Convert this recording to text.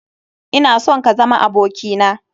Ina son ka zama aboki na.